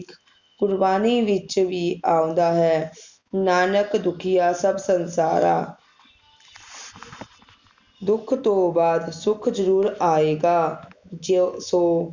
ਗੁਰਬਾਣੀ ਵਿਚ ਵੀ ਆਉਂਦਾ ਹੈ ਨਾਨਕ ਦੁਖੀਆਂ ਸੱਭ ਸੰਸਾਰਾਂ ਦੁੱਖ ਤੋਂ ਬਾਦ ਸੁਖ ਜਰੂਰ ਆਏਗਾ ਜੀਓ ਸੋ